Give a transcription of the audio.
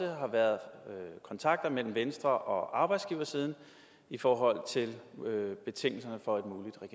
har været kontakter mellem venstre og arbejdsgiversiden i forhold til betingelserne for